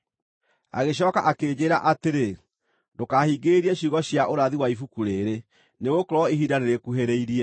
Agĩcooka akĩnjĩĩra atĩrĩ, “Ndũkahingĩrĩrie ciugo cia ũrathi wa ibuku rĩĩrĩ, nĩgũkorwo ihinda nĩrĩkuhĩrĩirie.